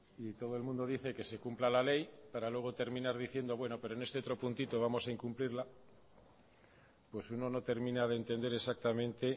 y todo el mundo dice que se cumpla la ley para luego terminar diciendo pero en este otro puntito vamos a incumplirla pues uno no termina de entender exactamente